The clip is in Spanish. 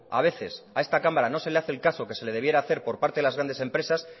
a veces a esta cámara no se le hace el caso que se le debiera hacer por parte de las grandes empresas